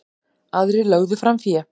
Aðrir lögðu fram fé.